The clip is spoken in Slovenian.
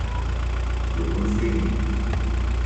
Kdo bo naslednji?